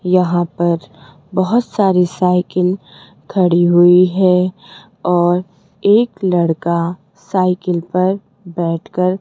यहां पर बहुत सारी साइकिल खड़ी हुई है और एक लड़का साइकिल पर बैठ कर --